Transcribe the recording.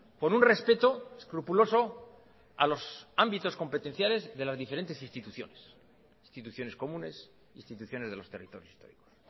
por un respeto escrupuloso a los ámbitos competenciales de las diferentes instituciones instituciones comunes instituciones de los territorios históricos